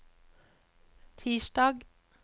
tirsdag